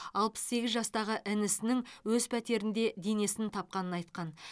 алпыс сегіз жастағы інісінің өз пәтерінде денесін тапқанын айтқан